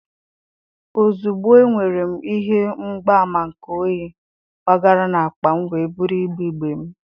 ozugbo enwere m ihe mgbaàmà nke oyi, gbagara na akpa m wee buru igbe igbe m.